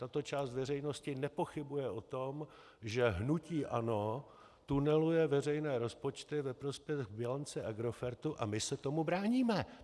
Tato část veřejnosti nepochybuje o tom, že hnutí ANO tuneluje veřejné rozpočty ve prospěch bilance Agrofertu, a my se tomu bráníme.